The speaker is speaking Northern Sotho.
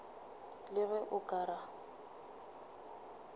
le ge o ka re